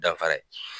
Danfara ye